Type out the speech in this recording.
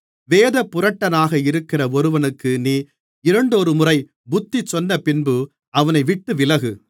வேதப்புரட்டனாக இருக்கிற ஒருவனுக்கு நீ இரண்டொருமுறை புத்தி சொன்னபின்பு அவனைவிட்டு விலகு